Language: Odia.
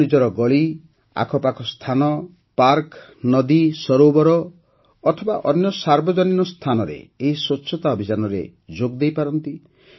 ଆପଣ ନିଜର ଗଳି ଆଖପାଖ ସ୍ଥାନ ପାର୍କ ନଦୀ ସରୋବର ଅଥବା ଅନ୍ୟ ସାର୍ବଜନିକ ସ୍ଥାନରେ ଏହି ସ୍ୱଚ୍ଛତା ଅଭିଯାନରେ ଯୋଗ ଦେଇପାରନ୍ତି